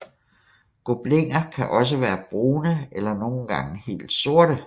Gobliner kan også være brune eller nogle gange helt sorte